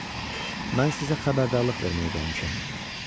Cənab, mən sizə xəbərdarlıq verməyə gəlmişəm.